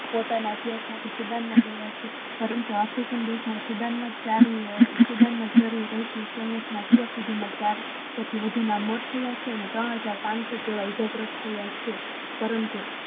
પોતના અભ્યાશ માંથી પરંતુ આપડા student ના અત્યર સુધી માં ચારસો થી વધુ ના મોત થયા છે અને ત્રણ હઝાર પાનસો જેવા ઈજાગ્રસ્ત થયા છે કારણ કે